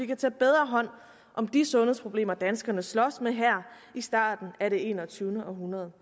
kan tage bedre hånd om de sundhedsproblemer danskerne slås med her i starten af det enogtyvende århundrede